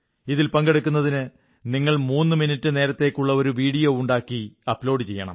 ഇതിൽ പങ്കെടുക്കുന്നതിന് നിങ്ങൾ മൂന്നു മിനിറ്റു നേരത്തേക്കുള്ള ഒരു വീഡിയോ ഉണ്ടാക്കി അപ്ലോഡ് ചെയ്യണം